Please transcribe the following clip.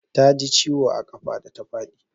Ta ji ciwo a ƙafa da ta faɗi.